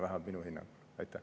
Vähemalt minu hinnangul on nii.